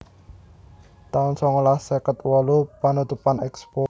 taun songolas seket wolu Panutupan Expo